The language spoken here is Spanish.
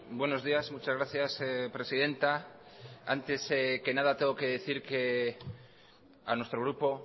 buenos días muchas gracias presidenta antes que nada tengo que decir que a nuestro grupo